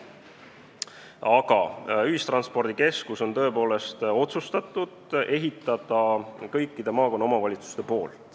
Aga on tõepoolest otsustatud, et ühistranspordikeskuse rajavad kõik maakonna omavalitsused koos.